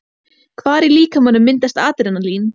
Hvar í líkamanum myndast Adrenalín?